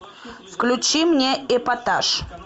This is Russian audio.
включи мне эпатаж